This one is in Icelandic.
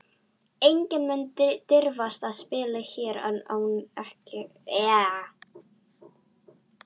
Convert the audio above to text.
Enginn mun dirfast að spila hér án ykkar leyfis.